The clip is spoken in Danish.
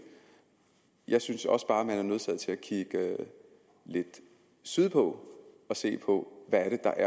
jeg synes også bare at man er nødsaget til at kigge lidt sydpå og se på hvad det er